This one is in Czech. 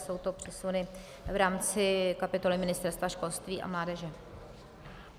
Jsou to přesuny v rámci kapitoly Ministerstva školství a mládeže.